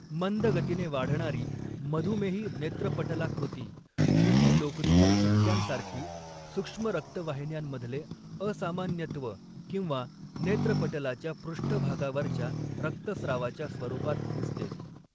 मंद गतीने वाढणारी मधुमेही नेत्रपटलाकृती, सुती लोकरीच्या ठिपक्यांसारखी, सूक्ष्म रक्तवाहिन्यांमधले असामान्यत्व किंवा नेत्रपटलाच्या पृष्ठभागावरच्या रक्तस्रावाच्या स्वरूपात दिसते.